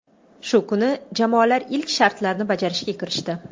Shu kuni jamoalar ilk shartlarni bajarishga kirishdi.